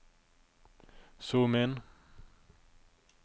zoom inn